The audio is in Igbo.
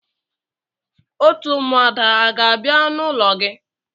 Òtù ụmụada a ga-abia n'ulo gi?